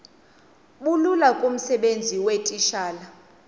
bulula kumsebenzi weetitshala